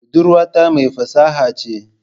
Budurwata mai fasaha ce